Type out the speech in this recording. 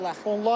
Yevlax.